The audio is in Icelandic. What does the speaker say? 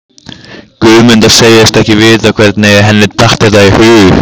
Guðmunda segist ekki vita hvernig henni datt þetta í hug.